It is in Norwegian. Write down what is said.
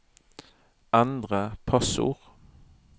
endre passord